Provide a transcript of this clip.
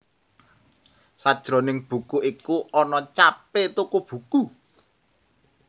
Sajroning buku iku ana capé toko buku